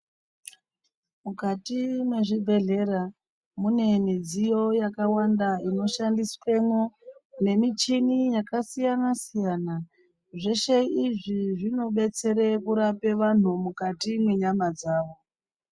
Mukati mwezvibhehlera munemidziyo yakawanda inoshandiswemwo nemichini yakasiyana siyana .Zveshe izvi zvinodetsera kurape antu mukati mwenyama dzawo.